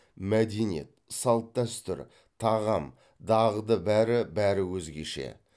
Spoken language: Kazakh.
мәдениет салт дәстүр тағам дағды бәрі бәрі өзгеше